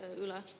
Aitäh!